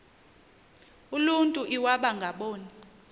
uluntu iwaba ngaboni